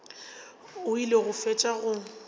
o ile go fetša go